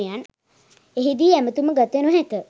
එහිදී ඇමැතුම ගත නොහැක.